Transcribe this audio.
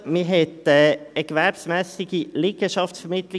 Man wollte keine gewerbsmässige Liegenschaftsvermittlung.